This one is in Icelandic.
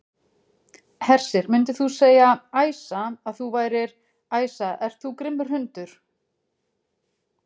Hersir: Myndir þú segja, Æsa, að þú værir, Æsa ert þú grimmur hundur?